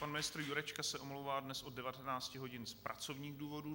Pan ministr Jurečka se omlouvá dnes od 19.00 hodin z pracovních důvodů.